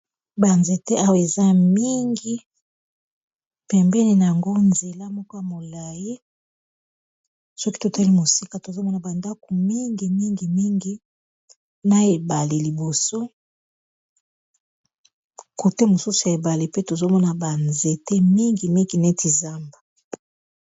banzete awa eza mingi pembeni a yango nzela moko ya molai soki totali mosika tozomona bandaku mingi mingimingi na ebale liboso kote mosusu ya ebale pe tozomona banzete mingi migi neti zamba